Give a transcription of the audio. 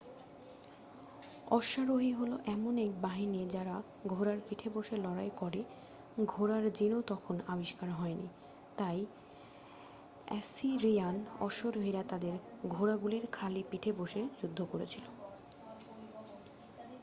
অশ্বারোহী হলো এমন একটি বাহিনী যারা ঘোড়ার পিঠে বসে লড়াই করে ঘোড়ার জিন তখনও আবিষ্কার হয়নি তাই অ্যাসিরিয়ান অশ্বারোহীরা তাদের ঘোড়াগুলির খালি পিঠে বসে যুদ্ধ করেছিল